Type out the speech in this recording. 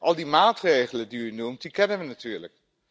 Al die maatregelen die u noemt, die kennen we natuurlijk.